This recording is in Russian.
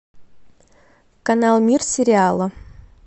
канал мир сериала